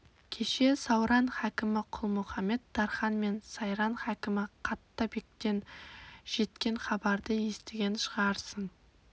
кеше сауран хакімі құлмұхамед-тархан мен сайрам хакімі қатта бектен жеткен хабарды естіген шығарсың